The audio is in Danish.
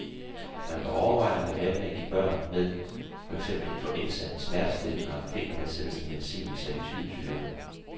Man bør overveje at lade være med at give børn med for eksempel influenza smertestillende og febernedsættende medicin med salicylsyre.